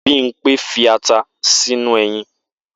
Bimpe fi ata sínú eyin